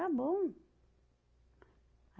Era bom.